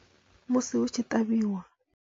Musi hutshi ṱavhiwa.